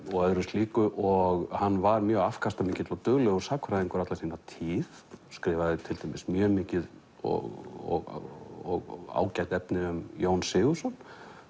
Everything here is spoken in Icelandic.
og öðru slíku og hann var mjög afkastamikill og duglegur sagnfræðingur alla sína tíð skrifaði til dæmis mjög mikið og ágætt efni um Jón Sigurðsson